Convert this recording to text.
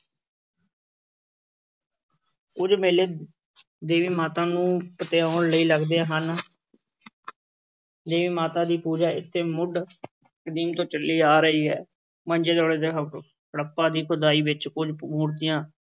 ਕੁੱਝ ਮੇਲੇ ਦੇਵੀ ਮਾਤਾ ਨੂੰ ਪਤਿਆਉਣ ਲਈ ਲੱਗਦੇ ਹਨ ਦੇਵੀ ਮਾਤਾ ਦੀ ਪੂਜਾ ਇੱਥੇ ਮੁੱਢ ਕਦੀਮ ਤੋਂ ਚੱਲੀ ਆ ਰਹੀ ਹੈ, ਮਹਿੰਜੋਦੜੋ ਤੇ ਹਪ~ ਹੜੱਪਾ ਦੀ ਖੁਦਾਈ ਵਿੱਚ ਕੁੱਝ ਮੂਰਤੀਆਂ